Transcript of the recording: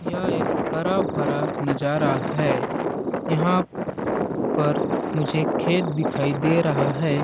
यह एक हरा-भरा नज़ारा है यहाँ पर मुझे खेत दिखाई दे रहा है।